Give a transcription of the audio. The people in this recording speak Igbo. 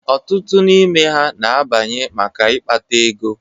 Ọtụtụ n'ime ha na-abanye maka ịkpata ego.